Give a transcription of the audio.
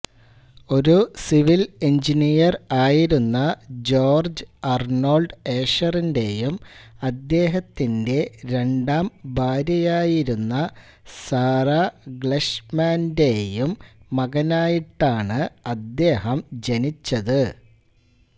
ഒരു civil engineer ആയിരുന്ന George Arnold ഏഷറിന്റെയും അദ്ദേഹത്തിന്റ രണ്ടാം ഭാര്യയായിരുന്ന സാറ ഗ്ലൈഷ്മാൻന്റെയും മകനായിട്ടാണ് അദ്ദേഹം ജനിച്ചത്